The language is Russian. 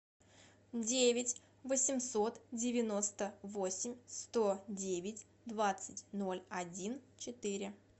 девять восемьсот девяносто восемь сто девять двадцать ноль один четыре